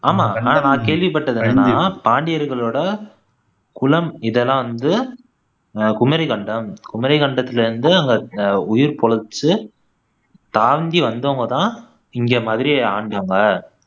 ஆமா நான் நான் கேள்விப்பட்டது என்னன்னா பாண்டியர்களோட குலம் இதெல்லாம் வந்து அஹ் குமரிக்கண்டம் குமரிக்கண்டத்திலிருந்து அங்க அஹ் உயிர் பிழைச்சு தாங்கி வந்தவங்க தான் இங்க மதுரைய ஆண்டவங்க